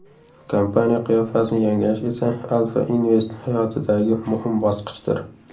Kompaniya qiyofasini yangilash esa Alfa Invest hayotidagi muhim bosqichdir.